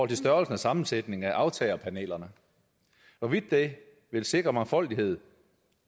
til størrelsen og sammensætningen af aftagerpanelerne hvorvidt det vil sikre mangfoldighed